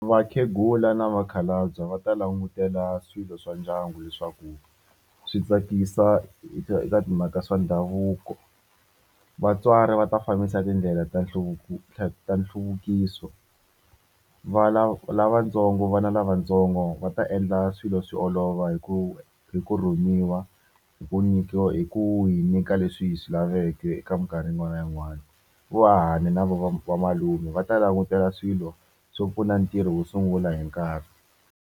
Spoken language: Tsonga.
Vakhegula na vakhalabye va ta langutela swilo swa ndyangu leswaku swi tsakisa eka timhaka swa ndhavuko vatswari va ta fambisa tindlela ta nhluvuko nhluvukiso va lava lava vana lavatsongo va ta endla swilo swi olova hi ku hi ku rhumiwa hi ku nyikiwa hi ku hi nyika leswi hi swi laveke eka minkarhi yin'wana na yin'wana vo hahani na va malume va ta langutela swilo swo pfuna ntirho wo sungula hi nkarhi.